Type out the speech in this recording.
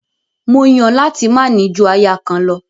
Mó Yàn láti máa ní ju aya kan lọ.